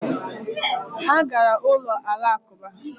Ha gara ụlọ Alakụba